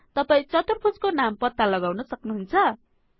तपाई चतुर्भुज को नाम पत्ता लगाउन सक्नुहुन्छ